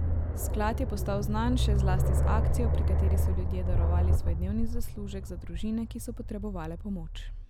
Sklad je postal znan še zlasti z akcijo, pri kateri so ljudje darovali svoj dnevni zaslužek za družine, ki so potrebovale pomoč.